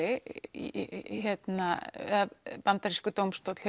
í Bandaríkjunum dómstólar